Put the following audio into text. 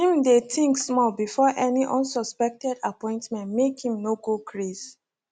him dey think small before any unsuspected appointment make him no go craze